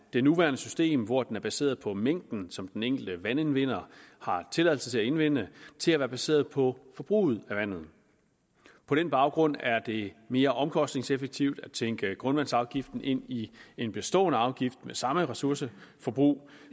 det nuværende system hvor den er baseret på mængden som den enkelte vandindvinder har tilladelse til at indvinde til at være baseret på forbruget af vandet på den baggrund er det mere omkostningseffektivt at tænke grundvandsafgiften ind i en bestående afgift med samme ressourceforbrug